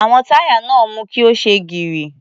Àwọn táyà náà mú kí ó ṣe gírí.